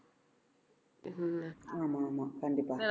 இது ஆமா ஆமா கண்டிப்பா